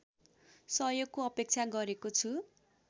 सहयोगको अपेक्षा गरेको छु